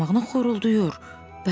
Xoruldamağına xoruldayır.